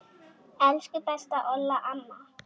Elsku besta Olla amma.